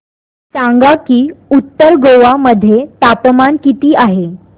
सांगा की उत्तर गोवा मध्ये तापमान किती आहे